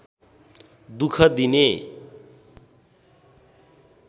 दुख दिने